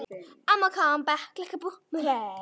Honum tókst að fara huldu höfði í rúmt ár.